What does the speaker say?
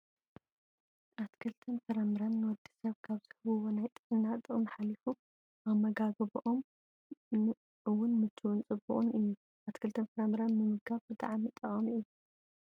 ኣትክልትን ፍራፍረን ንወዲሰብ ካብ ዝህብዎ ናይ ጥዕና ጥቅሚ ሓሊፉ ኣመጋግብኦም እውን ምችውን ፅቡቅን እዩ። ኣትክልትን ፍራፍረን ምምጋብ ብጣዕሚ ጠቃሚ እዩ።